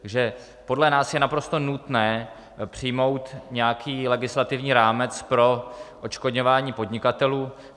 Takže podle nás je naprosto nutné přijmout nějaký legislativní rámec pro odškodňování podnikatelů.